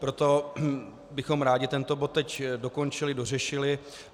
Proto bychom rádi tento bod teď dokončili, dořešili.